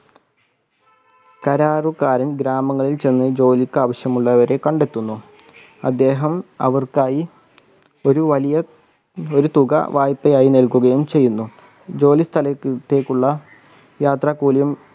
കരാറുകാരൻ ഗ്രാമങ്ങളിൽ ചെന്നു ജോലിക്ക് അവശ്യമുള്ളവരെ കണ്ടെത്തുന്നു അദ്ദേഹം അവർക്കായി ഒരു വലിയ തുക വായ്പയായി നൽകുകയും ചെയ്യുന്നു ജോലി സ്ഥലത്തേക്ക് ഉള്ള യാത്ര കൂലിയും